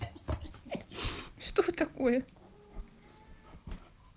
что такое